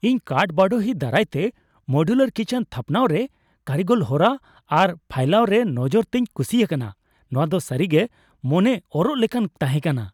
ᱤᱧ ᱠᱟᱴᱼᱵᱟᱰᱳᱦᱤ ᱫᱟᱨᱟᱭ ᱛᱮ ᱢᱳᱰᱤᱭᱩᱞᱟᱨ ᱠᱤᱪᱮᱱ ᱛᱷᱟᱯᱱᱟᱣᱨᱮ ᱠᱟᱹᱨᱤᱜᱚᱞᱚᱱ ᱦᱚᱨᱟ ᱟᱨ ᱯᱷᱟᱭᱞᱟᱣ ᱨᱮ ᱱᱚᱡᱚᱨ ᱛᱮᱧ ᱠᱩᱥᱤ ᱟᱠᱟᱱᱟ ᱾ ᱱᱚᱶᱟ ᱫᱚ ᱥᱟᱹᱨᱤᱜᱮ ᱢᱚᱱᱮ ᱚᱨᱚᱜ ᱞᱮᱠᱟᱱ ᱛᱟᱦᱮᱸ ᱠᱟᱱᱟ ᱾